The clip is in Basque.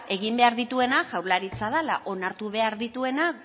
egin behar dituena jaurlaritza dala onartu behar dituena